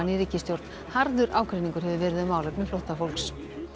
ríkisstjórn harður ágreiningur hefur verið um málefni flóttafólks